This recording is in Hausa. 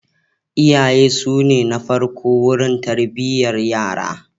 Iyaye su ne na farko wurin tarbiyyar yara.